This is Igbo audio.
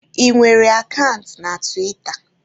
Ị nwere akant na tiwita?